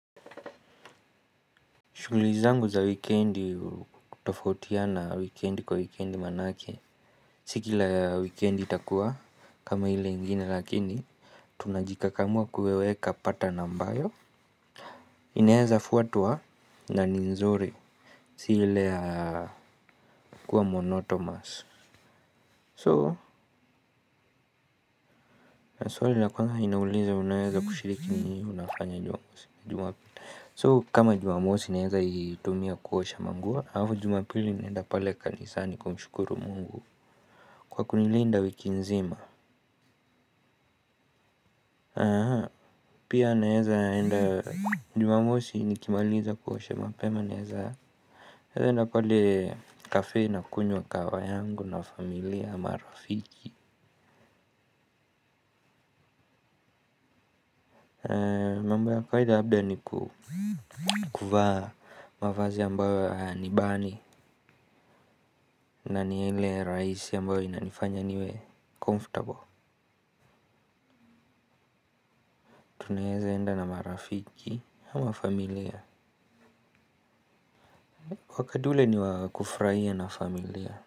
Shuguli zangu za wikendi hutofautiana wikendi kwa wikendi manake. Si kila wikendi itakua kama ile ingine lakini tunajikakamua kuweka pattern ambayo inaezafuatwa na ni nzuri si ile ya kuwa monotomous. So, na swali la kwanza inauliza unaeza kushiriki ni unafanya jumapita. So, kama jumamosi naweza itumia kuosha manguo. Alafu jumapili naenda pale kanisani kumshukuru Mungu. Kwa kunilinda wiki nzima. Pia naweza enda jumamosi nikimaliza kuosha mapema. Naweza enda pale kafe na kunywa kahawa yangu na familia ama rafiki. Mambo ya kawaida labda ni kuvaa mavazi ambayo hayanibani. Naniyale raisi ambayo inanifanya niwe comfortable. Tunaweza enda na marafiki ama familia. Wakati ule ni wakufurahia na familia.